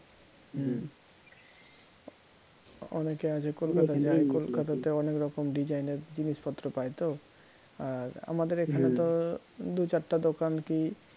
হম অনেকে আছে কলকাতা তে অনেকরকমের design এর জিনিসপত্র পায় তো আর আমাদের এখানে তো দু চারটা দোকান কি